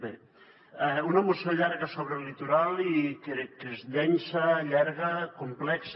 bé una moció llarga sobre el litoral i crec que és densa llarga complexa